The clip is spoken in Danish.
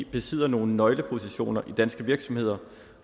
besidder nogle nøglepositioner i danske virksomheder